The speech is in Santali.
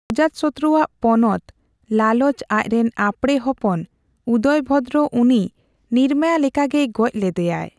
ᱚᱡᱟᱛᱥᱚᱛᱚᱨᱩ ᱟᱜ ᱯᱚᱱᱚᱛ ᱞᱟᱞᱚᱪ ᱟᱡᱨᱮᱱ ᱟᱯᱲᱮ ᱦᱚᱯᱚᱱ ᱩᱫᱚᱭᱵᱷᱚᱫᱨᱚ ᱩᱱᱤᱭ ᱱᱤᱨᱢᱟᱭᱟ ᱞᱮᱠᱟᱜᱮᱭ ᱜᱚᱡ ᱞᱮᱫᱮᱭᱟᱭ ᱾